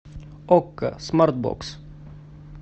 окко смарт бокс